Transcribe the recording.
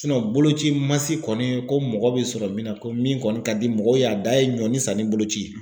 boloci mansin se kɔni ko mɔgɔ bɛ sɔrɔ min na ko min kɔni ka di mɔgɔw ye a da ye ɲɔnin sanni boloci ye